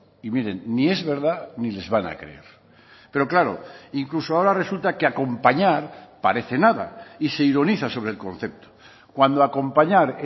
y miren ni es verdad ni les van a creer pero claro incluso ahora resulta que acompañar parece nada y se ironiza sobre el concepto cuando acompañar